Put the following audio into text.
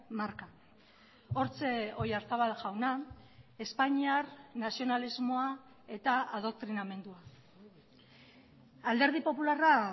marka hortxe oyarzabal jauna espainiar nazionalismoa eta adoktrinamendua alderdi popularra